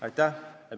Aitäh!